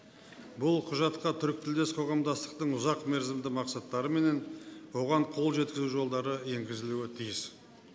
бұл құжатқа түркітілдес қоғамдастықтың ұзақ мерзімді мақсаттары мен оған қол жеткізу жолдары енгізілуге тиіс